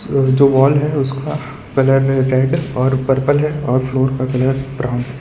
जो वॉल है उसका कलर रेड और पर्पल है और फ्लोर का कलर ब्राउन है।